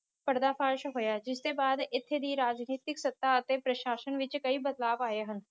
ਪਰਦਾ ਫਾਸ਼ ਹੋਇਆ ਜਿਸ ਦੇ ਬਾਦ ਇਥੇ ਦੀ ਰਾਜਨੀਤਿਕ ਸਤਾ ਅਤੇ ਪ੍ਰਸ਼ਾਸ਼ਨ ਵਿਚ ਕਈ ਬਦਲਾਵ ਆਏ ਹਨ